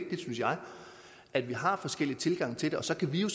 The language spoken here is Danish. jeg at vi har forskellige tilgange til det og så kan vi jo